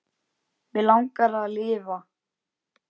Mig langar að lifa.